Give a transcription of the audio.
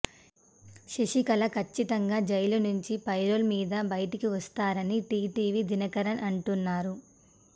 శశికళ కచ్చితంగా జైలు నుంచి పెరోల్ మీద బయటకు వస్తారని టీటీవీ దినకరన్ అంటున్నారు